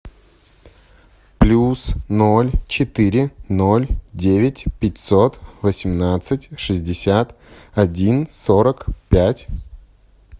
плюс ноль четыре ноль девять пятьсот восемнадцать шестьдесят один сорок пять